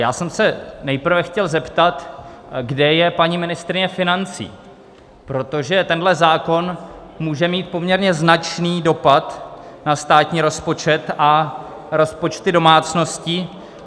Já jsem se nejprve chtěl zeptat, kde je paní ministryně financí, protože tenhle zákon může mít poměrně značný dopad na státní rozpočet a rozpočty domácností.